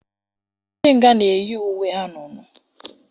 Ndị nga na-eyi uwe anunuu.